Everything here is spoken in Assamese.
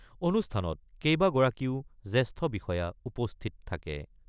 অনুষ্ঠানত কেইবাগৰাকীও জেষ্ঠ বিষয়া উপস্থিত থাকে।